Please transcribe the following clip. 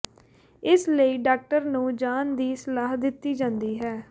ਇਸ ਲਈ ਡਾਕਟਰ ਨੂੰ ਜਾਣ ਦੀ ਸਲਾਹ ਦਿੱਤੀ ਜਾਂਦੀ ਹੈ